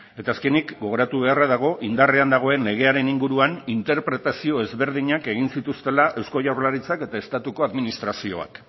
eta azkenik gogoratu beharra dago indarrean dagoen legearen inguruan interpretazio ezberdinak egin zituztela eusko jaurlaritzak eta estatuko administrazioak